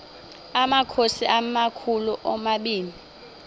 amakhosi amakhulu omabini